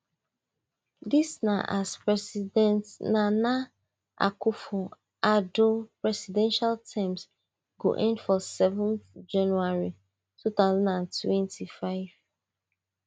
dis na as president nana akufo addo presidential term go end for seven january two thousand and twenty-five